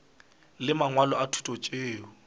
le mangwalo a thuto tšeo